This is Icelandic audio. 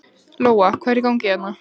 Lóa: Hvað er í gangi hérna?